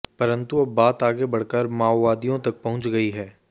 परंतु अब बात आगे बढ़कर माओवादियों तक पहुंच गई है